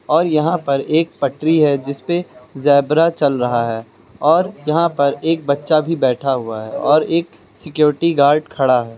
और यहां पर एक पटरी है जिसपे जेब्रा चल रहा है और यहां पर एक बच्चा भी बैठा हुआ है और एक सिक्योरिटी गार्ड खड़ा है।